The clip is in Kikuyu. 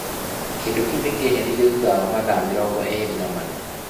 Kĩndo kĩu nĩ kĩeheririo thutha wa mathaa mĩrongo eerĩ na mana.